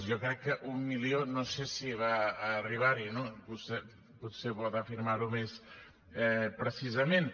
jo crec que a un milió no sé si va arribar hi no vostè potser pot afirmar ho més precisament